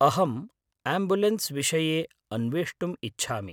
अहम् आम्बुलेन्स् विषये अन्वेष्टुम् इच्छामि।